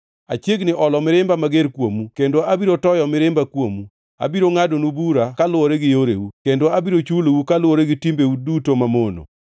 Achiegni olo mirimba mager kuomu kendo abiro toyo mirimba kuomu. Abiro ngʼadonu bura kaluwore gi yoreu kendo abiro chulou kaluwore gi timbeu duto mamono.